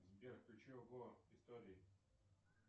сбер включи ого истории